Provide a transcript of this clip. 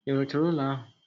I ruchala ulo ahu?